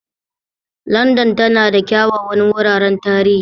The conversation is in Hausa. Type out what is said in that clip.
Landan tana da kyawawan wuraren tarihi.